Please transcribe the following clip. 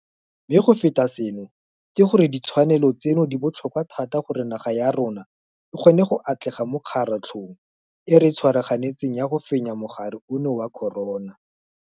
Mme go feta seno ke gore ditshwanelo tseno di botlhokwa thata gore naga ya rona e kgone go atlega mo kgaratlhong e re e tshwaraganetseng ya go fenya mogare ono wa corona.